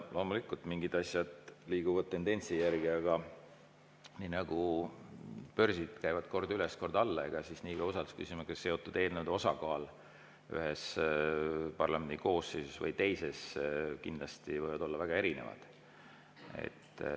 Loomulikult, mingid asjad liiguvad tendentsi järgi, aga nii nagu börsid käivad kord üles, kord alla, siis ka usaldusküsimusega seotud eelnõude osakaalud ühes ja teises parlamendikoosseisus võivad kindlasti olla väga erinevad.